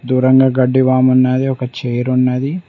దూరంగా గడ్డి వామన్నది ఒక చేరున్నది.